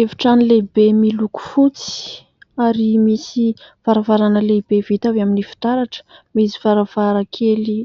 evitra any lehibe miloko fotsy ary misy varavarana lehibe vita avy amin'ny fitaratra misy varavarakely